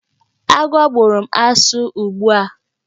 Agwọ bụrụ m asụ ugbu a!